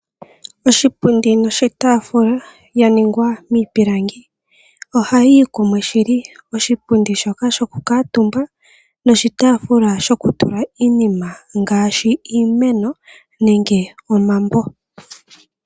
Oshipundi noshitaafula ya ningwa miipilangi oha yi yi kumwe shili. Oshipundi shoka shokukuutumba noshitaafula shotula iinima ngaashi iimeno nenge omambo.